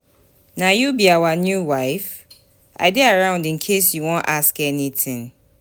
Na you be our new wife?I dey around in case you wan ask anything